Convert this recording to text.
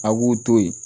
A b'u to yen